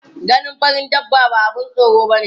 Ganin farin dabba ba abun tsoro bane.